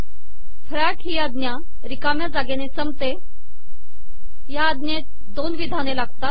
फॅक ही आजा िरकामया जागेने संपते हा आजेत दोन िवधाने लागतात